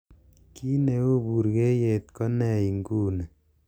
gii neu buryeiyet ko nee inguni